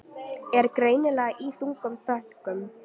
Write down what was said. Er greinilega í þungum þönkum.